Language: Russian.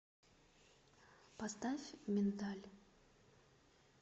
поставь миндаль